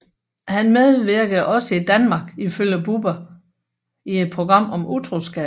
Han medvirkede også i Danmark ifølge Bubber i et program om utroskab